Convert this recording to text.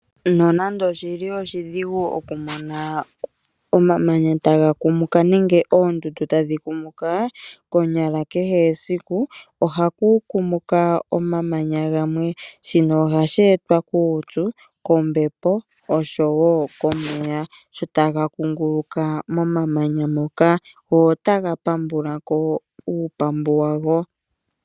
Nonando oshili oshidhigu okumona omamanya taga kumuka nenge oondundu tadhi kumuka, konyala kehe esiku ohaku kumuka omamanya gamwe, shino ohashi etwa kuupyu, kombepo osho wo komeya shotaga kunguluka momamanya moka go otaga pambulako uupambu wago.